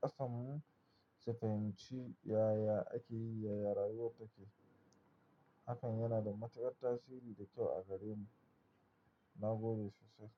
ƙasanmu sufahim, ci yaya ake yi, yaya rayuwar take. Hakan yana da matuƙar tasiri da kyau a gare mu. Na gode sosai.